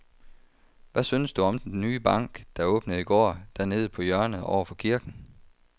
Hvad synes du om den nye bank, der åbnede i går dernede på hjørnet over for kirken?